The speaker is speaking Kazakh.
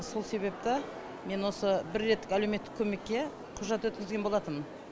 сол себепті мен осы бір реттік әлеуметтік көмекке құжат өткізген болатынмын